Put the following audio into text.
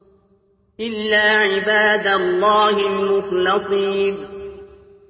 إِلَّا عِبَادَ اللَّهِ الْمُخْلَصِينَ